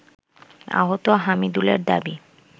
আহত হামিদুলের দাবি